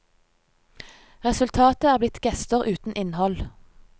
Resultatet er blitt gester uten innhold.